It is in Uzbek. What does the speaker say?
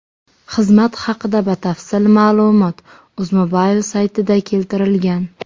Xizmat haqida batafsil ma’lumot UzMobile saytida keltirilgan .